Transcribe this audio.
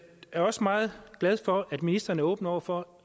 er også meget glad for at ministeren er åben over for